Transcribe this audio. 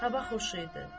Hava xoş idi.